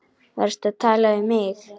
Varstu að tala við mig?